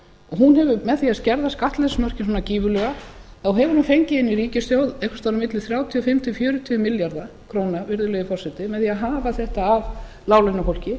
hún hefur með því að skerða skattleysismörkin svona gífurlega hefur hún fengið inn í ríkissjóð einhvers staðar á milli þrjátíu og fimm til fjörutíu milljarða króna virðulegi forseti með því að hafa þetta af láglaunafólki